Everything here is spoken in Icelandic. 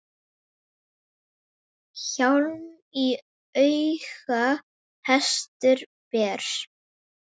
Hjálm í auga hestur ber.